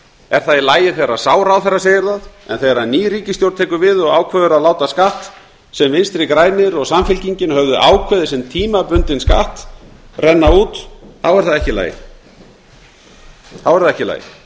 er það í lagi þegar sá ráðherra segir það en þegar ný ríkisstjórn tekur við og ákveður að láta skatt sem vinstri grænir og samfylkingin höfðu ákveðið sem tímabundinn skatt renna út er það ekki í lagi þá er það ekki í lagi